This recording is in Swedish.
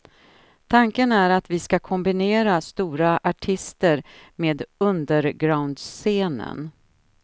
Tanken är att vi ska kombinera stora artister med undergroundscenen.